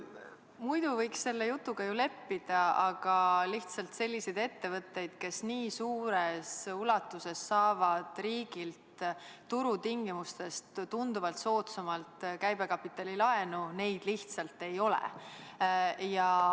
Muidu võiks selle jutuga ju leppida, aga lihtsalt selliseid ettevõtteid, kes nii suures ulatuses saavad riigilt turutingimustest tunduvalt soodsamalt käibekapitalilaenu, ei ole.